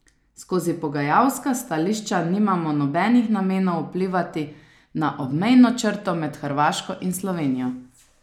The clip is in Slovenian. Skozi pogajalska stališča nimamo nobenih namenov vplivati na obmejno črto med Hrvaško in Slovenijo.